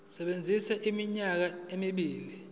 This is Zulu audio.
sisebenza iminyaka emibili